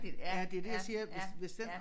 Ja det det jeg siger hvis hvis den